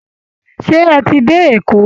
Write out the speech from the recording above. Ṣé ẹ ti dé Èkó